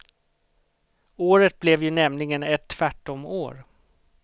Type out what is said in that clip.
Året blev ju nämligen ett tvärtom år.